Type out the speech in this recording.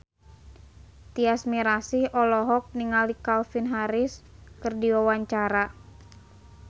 Tyas Mirasih olohok ningali Calvin Harris keur diwawancara